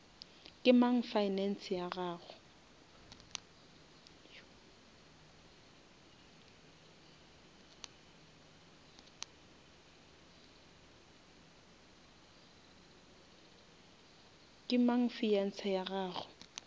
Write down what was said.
ke mang fiance ya gago